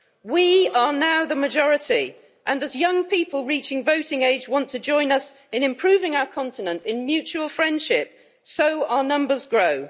We are now the majority and, as young people reaching voting age want to join us in improving our continent in mutual friendship, so our numbers grow.